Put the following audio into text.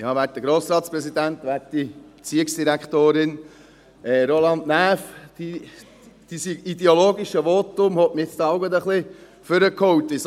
Roland Näf, Ihr ideologisches Votum hat mich nun ein wenig nach vorne geholt.